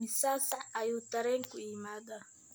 imisa saac ayuu tareenku yimaadaa?